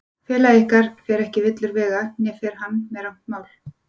Félagi ykkar fer ekki villur vega, né fer hann með rangt mál.